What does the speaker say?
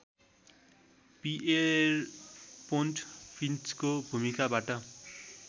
Pierpont फिन्चको भूमिकाबाट